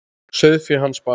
Sauðfé hans bar af.